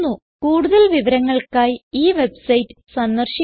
കൂടുതൽ വിവരങ്ങൾക്കായി ഈ വെബ്സൈറ്റ് സന്ദർശിക്കുക